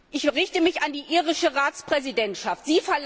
Ich wende mich an die irische Ratspräsidentschaft.